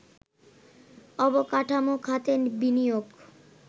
অবকাঠামো খাতে বিনিয়োগ